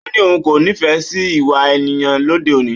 Ó ní òun kò nífẹ̀ẹ́ sí ìwà ènìyàn lóde òní